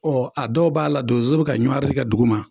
a dɔw b'a la donzow bɛ ka ɲɔwari kɛ duguma.